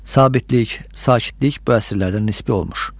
Sabitlik, sakitlik bu əsrlərdə nisbi olmuş.